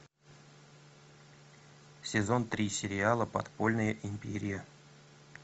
сезон три сериала подпольная империя